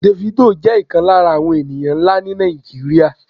Davido jẹ́ ìkan lára àwọn ènìyàn nlâ ni Nàìjíríà